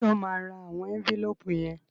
Ṣé o máa ra àwọn ẹ́ńfílóòpù yẹn?